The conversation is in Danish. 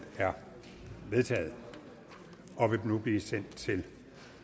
er vedtaget og vil nu blive sendt til